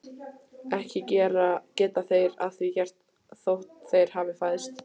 Ekki geta þeir að því gert þótt þeir hafi fæðst.